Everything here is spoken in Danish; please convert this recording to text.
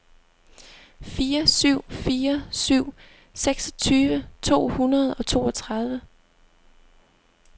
fire syv fire syv seksogtyve to hundrede og toogtredive